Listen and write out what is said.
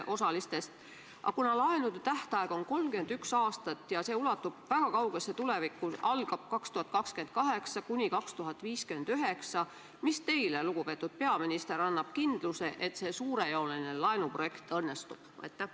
Aga kuna laenu tähtaeg on 31 aastat ja see ulatub väga kaugesse tulevikku, jäädes ajavahemikku 2028–2059, siis mis annab teile, lugupeetud peaminister, kindluse, et see suurejooneline laenuprojekt õnnestub?